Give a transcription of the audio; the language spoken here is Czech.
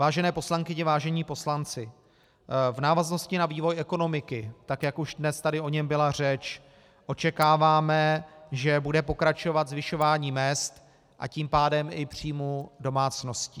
Vážené poslankyně, vážení poslanci, v návaznosti na vývoj ekonomiky, tak jak už dnes tady o něm byla řeč, očekáváme, že bude pokračovat zvyšování mezd, a tím pádem i příjmů domácností.